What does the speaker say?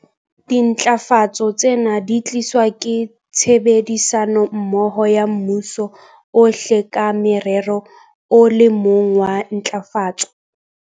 Dintlafatso tsena di tliswa ke tshebedisanommoho ya mmuso ohle ka morero o le mong wa ntlafatso.